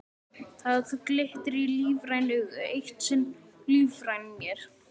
Það glittir í lífræn augu, eitt sinn ólífræn mér.